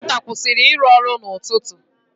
Prịnta kwụsịrị ịrụ ọrụ n'ụtụtụ.